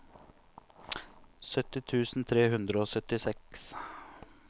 sytti tusen tre hundre og syttiseks